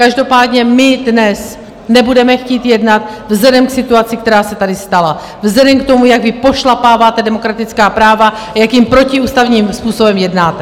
Každopádně my dnes nebudeme chtít jednat vzhledem k situaci, která se tady stala, vzhledem k tomu, jak vy pošlapáváte demokratická práva a jakým protiústavním způsobem jednáte.